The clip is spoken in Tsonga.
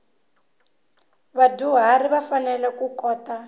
vadyuharhi va fanele ku kota